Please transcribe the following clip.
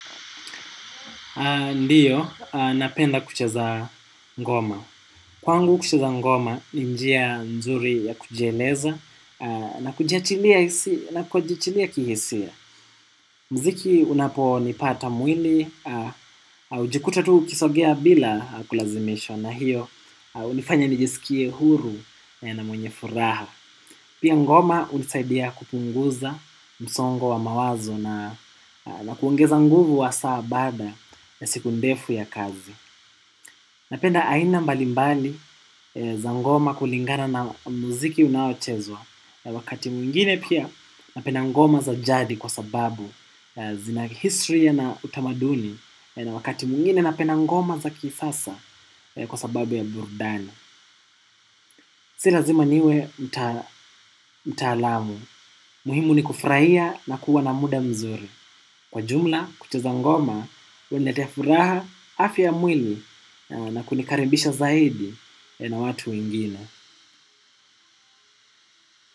Ndiyo, napenda kucheza ngoma. Kwangu kucheza ngoma ni njia nzuri ya kujieleza na kujiachilia kihisia. Mziki unapo nipata mwili, ujikuta tu ukisogea bila kulazimishwa na hiyo unifanya nijisikie huru na mwenye furaha. Pia ngoma unisaidia kupunguza msongo wa mawazo na kuongeza nguvu wa saa baada ya siku ndefu ya kazi. Napenda aina mbalimbali za ngoma kulingana na muziki unaochezwa. Wakati mwingine pia napenda ngoma za jadi kwa sababu zina history na utamaduni. Wakati mwingine napenda ngoma za kisasa kwa sababu ya burudani. Si lazima niwe mtaalamu, muhimu ni kufuraia na kuwa na muda mzuri. Kwa jumla, kucheza ngoma, uniletea furaha afya ya mwili na kunikaribisha zaidi na watu wengine.